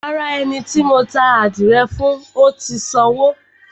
Rárá, ẹni tí mo ta ádìrẹ fún ò tì í sanwó.